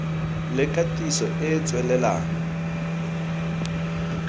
le katiso e e tswelelang